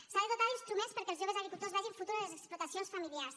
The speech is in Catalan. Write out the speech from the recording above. s’ha de dotar d’instruments perquè els joves agricultors vegin futur en les explotacions familiars